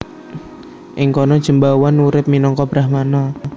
Ing kana Jembawan urip minangka brahmana